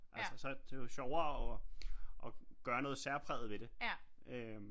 Altså så det er jo sjovere og gøre noget særpræget ved det øh